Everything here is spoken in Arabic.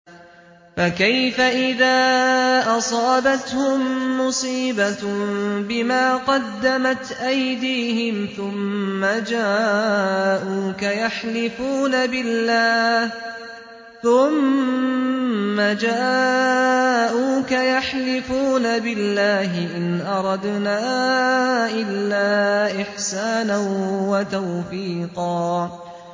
فَكَيْفَ إِذَا أَصَابَتْهُم مُّصِيبَةٌ بِمَا قَدَّمَتْ أَيْدِيهِمْ ثُمَّ جَاءُوكَ يَحْلِفُونَ بِاللَّهِ إِنْ أَرَدْنَا إِلَّا إِحْسَانًا وَتَوْفِيقًا